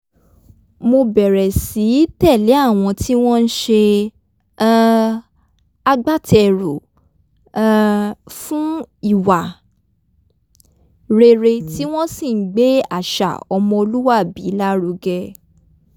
mo bẹ̀rẹ̀ sí tẹ̀lé àwọn tí ń s̩e um agbáte̩rù um fún ìwà rere tí wo̩n sì ń gbé àṣà o̩mo̩lúwàbí lárugẹ